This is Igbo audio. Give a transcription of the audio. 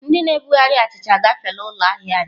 Ndị na-ebugharị achịcha agafeela ụlọ ahịa anyị?